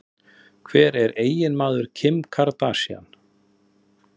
Hver er eiginmaður Kim Kardashian?